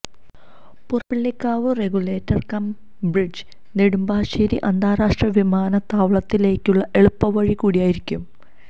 Purappillikkavu regulator cum bridge Nedumbassery അന്താരാഷ്ട്ര വിമാനത്താവളത്തിലേക്കുള്ള എളുപ്പപാത കൂടിയായിരിക്കും